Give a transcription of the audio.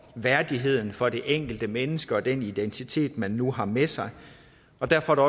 værdigheden for det enkelte menneske og den identitet man nu har med sig derfor er